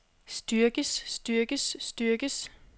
styrkes styrkes styrkes